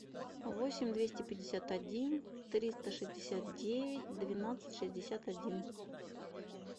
восемь двести пятьдесят один триста шестьдесят девять двенадцать шестьдесят один